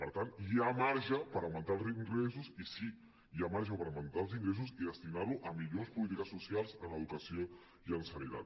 per tant hi ha marge per augmentar els ingressos i sí hi ha marge per augmentar els ingressos i destinar los a millors polítiques socials en educació i en sanitat